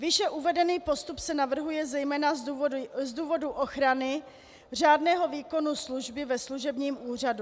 Výše uvedený postup se navrhuje zejména z důvodu ochrany řádného výkonu služby ve služebním úřadu.